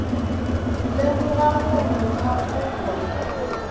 lemoga gore mokgwa o gona